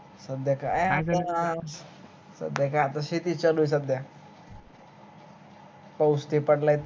सध्या काय आपल शेती च चालू आहे सध्या पावूस पडलाय